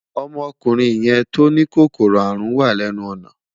Ọmọkùnrin yẹn tó ní kòkòrò àrùn wà lẹ́nu ọ̀nà